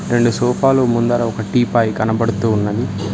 రెండు సోఫాలు ముందర ఒక టీపాయ్ కనబడుతూ ఉన్నది